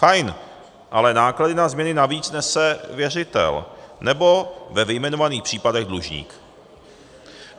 Fajn, ale náklady na změny navíc nese věřitel nebo ve vyjmenovaných případech dlužník.